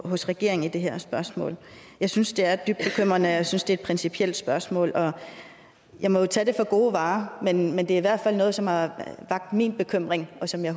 hos regeringen i det her spørgsmål jeg synes det er dybt bekymrende og jeg synes det er et principielt spørgsmål jeg må jo tage det for gode varer men men det er i hvert fald noget som har vakt min bekymring og som jeg